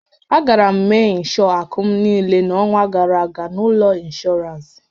Agara m mee ịnshọọ akụ m niile n'ọnwa gara aga na ụlọ ọrụ inshọransị.